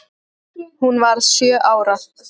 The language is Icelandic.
Hún varð sjö ára.